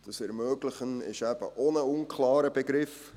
«ermöglichen» ist eben auch ein unklarer Begriff.